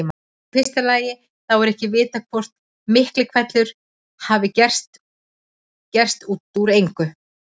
Í fyrsta lagi þá er ekki vitað hvort Miklihvellur hafi gerst út úr engu.